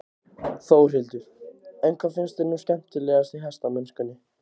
Þórhildur: En hvað finnst þér nú skemmtilegast í hestamennskunni?